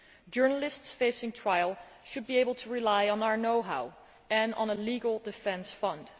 Journalists facing trial should be able to rely on our know how and on a legal defence fund.